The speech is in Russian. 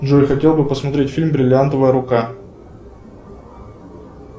джой хотел бы посмотреть фильм бриллиантовая рука